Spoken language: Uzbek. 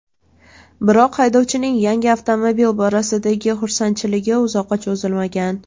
Biroq haydovchining yangi avtomobil borasidagi xursandchiligi uzoqqa cho‘zilmagan.